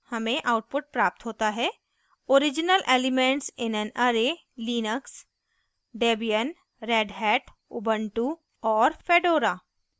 हमें output प्राप्त होता हैoriginal elements in an array linux: debian redhat ubuntu और fedora